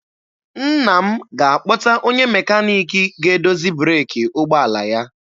Nna m ga-akpọta onye mekaniki ga-edozi breeki ụgbọala ya.